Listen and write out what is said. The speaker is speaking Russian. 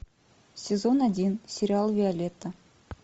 сезон один сериал виолетта